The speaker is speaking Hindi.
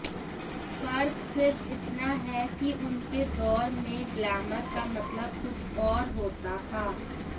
फर्क सिर्फ इतना है कि उनके दौर में ग्लैमर का मतलब कुछ और होता था